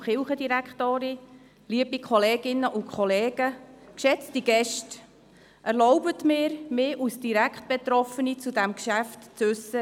Erlauben Sie mir, mich als direkt Betroffene zu diesem Geschäft zu äussern.